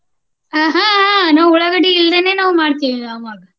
ಆಹ್ ಆಹ್ ಆಹ್ ನಾವ ಉಳ್ಳಾಗಡ್ಡಿ ಇಲ್ದೇನೆ ನಾವ ಮಾಡ್ತೀವಿ ಅವಾಗ.